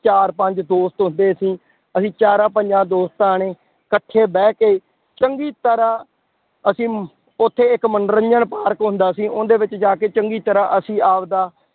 ਚਾਰ ਪੰਜ ਦੋਸਤ ਹੁੰਦੇ ਸੀ, ਅਸੀਂ ਚਾਰਾਂ ਪੰਜਾਂ ਦੋਸਤਾਂ ਨੇ ਇਕੱਠੇ ਬਹਿ ਕੇ ਚੰਗੀ ਤਰ੍ਹਾਂ ਅਸੀਂ ਉੱਥੇ ਇੱਕ ਮੰਨੋਰੰਜਨ ਪਾਰਕ ਹੁੰਦਾ ਸੀ ਉਹਦੇ ਵਿੱਚ ਜਾ ਕੇ ਚੰਗੀ ਤਰ੍ਹਾਂ ਅਸੀਂ ਆਪਦਾ